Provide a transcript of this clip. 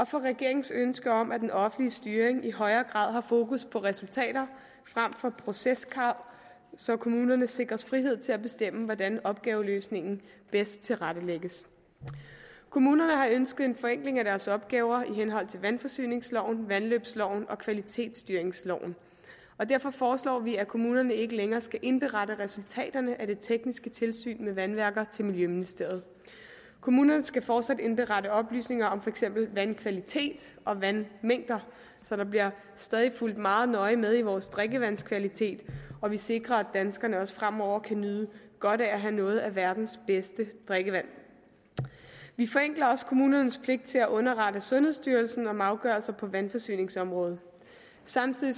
for regeringens ønske om at den offentlige styring i højere grad har fokus på resultater frem for proceskrav så kommunerne sikres frihed til at bestemme hvordan opgaveløsningen bedst tilrettelægges kommunerne har ønsket en forenkling af deres opgaver i henhold til vandforsyningsloven vandløbsloven og kvalitetsstyringsloven derfor foreslår vi at kommunerne ikke længere skal indberette resultaterne af det tekniske tilsyn med vandværker til miljøministeriet kommunerne skal fortsat indberette oplysninger om for eksempel vandkvalitet og vandmængder så der bliver stadig fulgt meget nøje med i vores drikkevandskvalitet og vi sikrer at danskerne også fremover kan nyde godt af at have noget af verdens bedste drikkevand vi forenkler også kommunernes pligt til at underrette sundhedsstyrelsen om afgørelser på vandforsyningsområdet samtidig